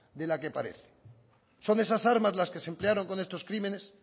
de la que parece son esas armas las que se emplearon con estos crímenes